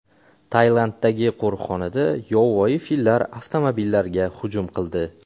Tailanddagi qo‘riqxonada yovvoyi fillar avtomobillarga hujum qildi.